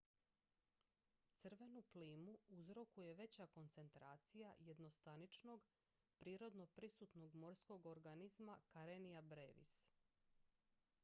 crvenu plimu uzrokuje veća koncentracija jednostaničnog prirodno prisutnog morskog organizma karenia brevis